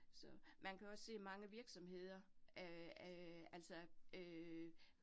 Så man kan også sige, mange virksomheder øh øh altså øh